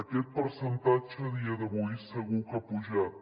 aquest percentatge a dia d’avui segur que ha pujat